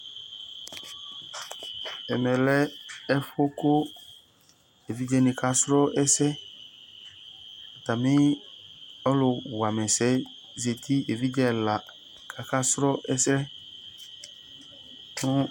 ɛmɛ yɛ lɛ evidzenɩ ɛfʊ sʊɛsɛ, atamɩ ɛsɛwanɩ yɛ zati, evidze ɛla kasʊ ɛsɛ